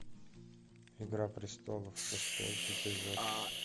игра престолов шестой эпизод